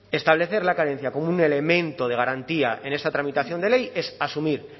establecer la carencia como un elemento de garantía en esta tramitación de ley es asumir